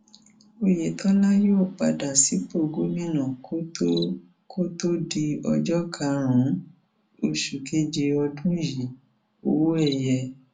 oyetola yóò padà sípò gómìnà kó tóó kó tóó di ọjọ karùnún oṣù keje ọdún yìíọwọẹyẹ